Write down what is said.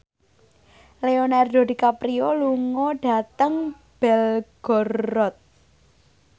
Leonardo DiCaprio lunga dhateng Belgorod